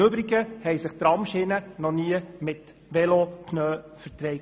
Im Übrigen haben sich Tramschienen noch nie mit Velopneus vertragen.